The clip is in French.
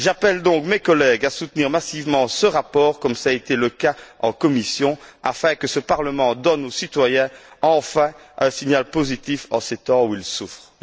J'appelle donc mes collègues à soutenir massivement ce rapport comme cela a été le cas en commission, afin que ce Parlement donne aux citoyens enfin un signal positif en ces temps où ils souffrent.